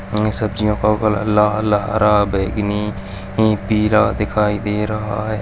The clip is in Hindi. इतनी सब्जियों हरा बैंगनी नी पीला दिखाई दे रहा है |